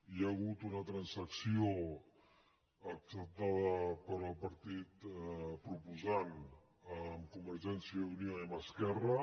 hi ha hagut una transacció acceptada pel partit proposant amb convergència i unió i amb esquerra